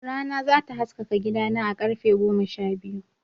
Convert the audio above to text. Rana za ta haskaka gidana a karfe goma sha biyu.